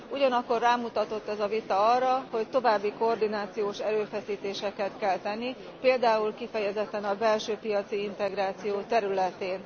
Ugyanakkor rámutatott ez a vita arra, hogy további koordinációs erőfeszítéseket kell tenni, például kifejezetten a belső piaci integráció területén.